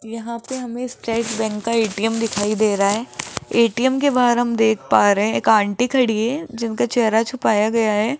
यहां पे हमे स्टेट बैंक का ए_टी_म दिखाई दे रहा है ए_टी_म के बाहर हम देख पा रहे है एक आंटी खड़ी है जिनका चेहरा छुपाया गया है।